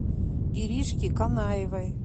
иришке канаевой